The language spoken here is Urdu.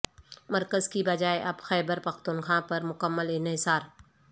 مرکز کی بجائے اب خیبر پختونخوا پر مکمل انحصار